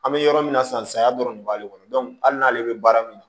An bɛ yɔrɔ min na sisan saya dɔrɔn de b'ale kɔnɔ hali n'ale bɛ baara min na